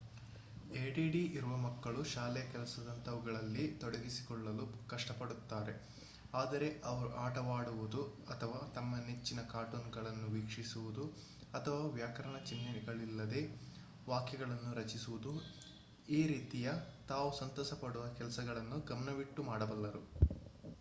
add ಇರುವ ಮಕ್ಕಳು ಶಾಲೆಯ ಕೆಲಸದಂತವುಗಳಲ್ಲಿ ತೊಡಗಿಸಿಕೊಳ್ಳಲು ಕಷ್ಟಪಡುತ್ತಾರೆ ಆದರೆ ಅವರು ಆಟವಾಡುವುದು ಅಥವಾ ತಮ್ಮ ನೆಚ್ಚಿನ ಕಾರ್ಟೂನ್‌ಗಳನ್ನು ವೀಕ್ಷಿಸುವುದು ಅಥವಾ ವ್ಯಾಕರಣ ಚಿನ್ಹೆಗಳಿಲ್ಲದೇ ವಾಕ್ಯಗಳನ್ನು ರಚಿಸುವುದು ಈ ರೀತಿಯ ತಾವು ಸಂತಸಪಡುವ ಕೆಲಸಗಳನ್ನು ಗಮನವಿಟ್ಟು ಮಾಡಬಲ್ಲರು